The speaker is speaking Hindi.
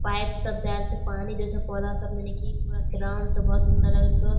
पाइप सब देएल छै पानी देय छै पौधा सब मे बहुत सुंदर लगे छो।